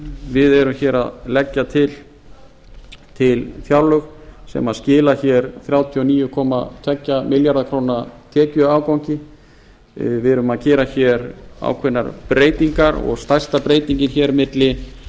við erum hér að leggja til fjárlög sem skila hér þrjátíu og níu komma tvo milljarða króna tekjuafgangi við erum að gera hér ákveðnar breytingar og stærsta breytingin hér milli